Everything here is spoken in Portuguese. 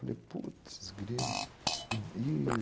Eu falei, putz, grilo. E e